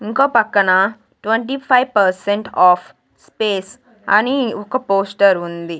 ఇంకో పక్కన twenty five percent of space అని ఒక పోస్టర్ ఉంది.